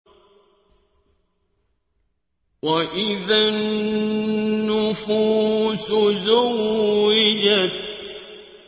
وَإِذَا النُّفُوسُ زُوِّجَتْ